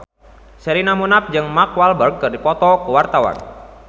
Sherina Munaf jeung Mark Walberg keur dipoto ku wartawan